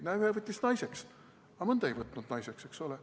Näe, ühe võttis naiseks, aga mõnda ei võtnud naiseks, eks ole.